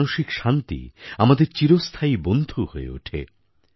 মানসিক শান্তি আমাদের চিরস্থায়ী বন্ধু হয়ে ওঠে